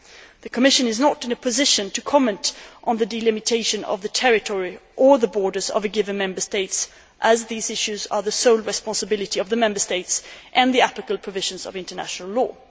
The Commission is not in a position to comment on the delimitation of the territory or the borders of a given Member State, as these issues are the sole responsibility of the Member States and the applicable provisions of international law.